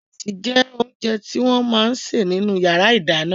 Ìrẹsì jẹ́ oríṣi oúnjẹ tí wọ́n máa ń sè nínú ìyàrá-ìdáná.